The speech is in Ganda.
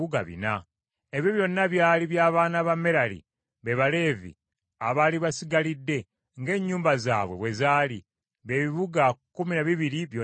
Ebyo byonna byali by’abaana ba Merali be Baleevi, abaali basigalidde ng’ennyumba zaabwe bwe zaali, bye bibuga kkumi na bibiri byonna awamu.